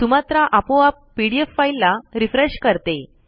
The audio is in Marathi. सुमात्रा आपोआप पीडीएफ फाईल ला रिफ्रेश करते